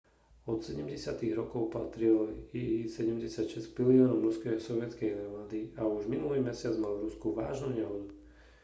od 70. rokov patril il-76 k pilierom ruskej aj sovietskej armády a už minulý mesiac mal v rusku vážnu nehodu